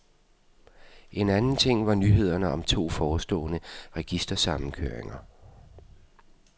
En anden ting var nyhederne om to forestående registersammenkøringer.